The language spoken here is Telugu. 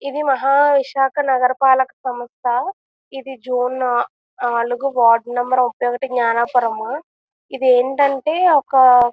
ఇది మహా విశాఖ నగర పాలక సంస్థ. ఇది జూన్ నా నాలుగు వార్డు నెంబర్ ముఫై ఒకటి జ్ఞానాపురము. ఇది ఏంటంటే ఒక--